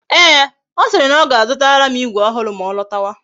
Ee, ọ siri na ọ ga-azutara m igwe ọhụrụ ma ọ lọtawa